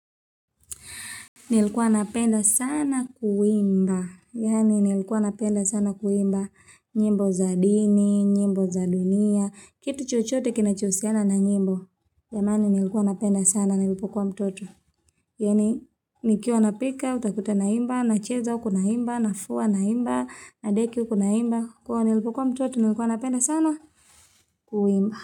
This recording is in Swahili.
Nilikuwa napenda sana kuimba, yaani nilikuwa napenda sana kuimba, nyimbo za dini, nyimbo za dunia, kitu chochote kinachohusiana na nyimbo. Jamani nilikuwa napenda sana nilipokuwa mtoto, yaani nikiwa napika, utakuta naimba, nacheza huku naimba, nafua naimba, nadeki huku naimba, kwa hiyo nilipokuwa mtoto nilikuwa napenda sana kuimba.